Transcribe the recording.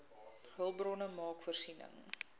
hulpbronne maak voorsiening